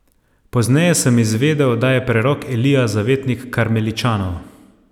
Pozneje sem izvedel, da je prerok Elija zavetnik karmeličanov.